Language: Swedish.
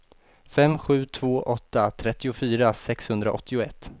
fem sju två åtta trettiofyra sexhundraåttioett